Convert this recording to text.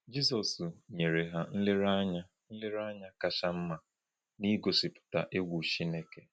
Jizọs nyere ihe nlereanya nlereanya kacha mma n’ịgosipụta “egwu Chineke.”